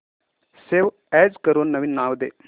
save as करून नवीन नाव दे